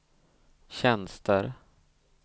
tjänster